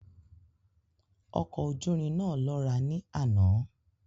Ọkọ̀-ojúrin náà lọ́ra ní àná